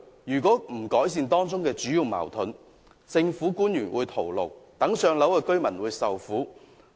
如果無法解決當中的矛盾，政府官員只會徒勞，而輪候"上樓"的居民亦會受苦。